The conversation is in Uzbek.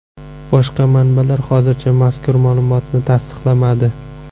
Boshqa manbalar hozircha mazkur ma’lumotni tasdiqlamadi.